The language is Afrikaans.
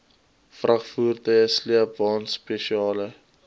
vragvoertuie sleepwaens spesiale